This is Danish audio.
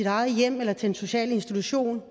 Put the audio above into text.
eget hjem eller til en social institution